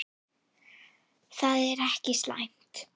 Það er ekki slæmt.